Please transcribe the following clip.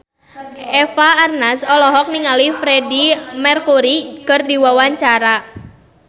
Eva Arnaz olohok ningali Freedie Mercury keur diwawancara